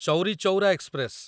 Chauri Chaura express